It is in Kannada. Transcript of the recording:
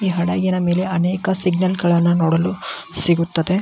ಈ ಹಡಗಿನ ಮೇಲೆ ಅನೇಕ ಸಿಗ್ನಲ್ ಗಳನ್ನ ನೋಡಲು ಸಿಗುತ್ತದೆ.